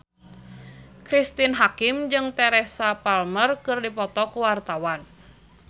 Cristine Hakim jeung Teresa Palmer keur dipoto ku wartawan